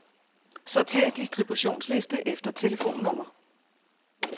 Sortér distributionsliste efter telefonnummer.